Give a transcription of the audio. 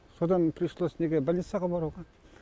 содан пришлось неге больницаға баруға